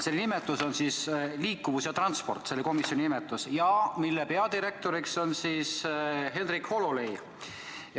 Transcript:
Selle nimetuses on sõnad "liikuvus ja transport" ja selle peadirektor on Henrik Hololei.